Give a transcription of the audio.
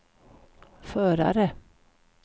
förare